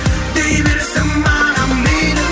дей берсін маған мейлі